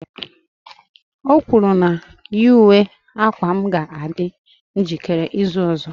O kwuru na ny uwe akwa m ga-adị njikere n'izu ọzọ